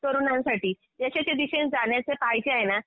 तरुणांसाठी यशाच्या दिशेने जाण्याचे जे आहे ना